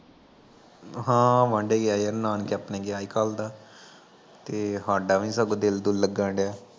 ਹਾਂ ਵਾਂਢੇ ਗਿਆ ਈ, ਨਾਨਕੇ ਆਪਣੇ ਗਿਆ ਈ ਕਲ ਦਾ, ਤੇ ਹਾਡਾ ਵੀ ਨੀ ਸਗੋਂ ਦਿਲ ਦੁਲ ਲੱਗਣ ਡਿਆ